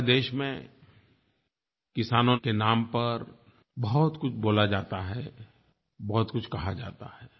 हमारे देश में किसानों के नाम पर बहुतकुछ बोला जाता है बहुतकुछ कहा जाता है